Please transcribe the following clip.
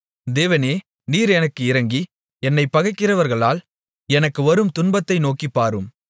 தேவனே நீர் எனக்கு இரங்கி என்னைப் பகைக்கிறவர்களால் எனக்கு வரும் துன்பத்தை நோக்கிப்பாரும்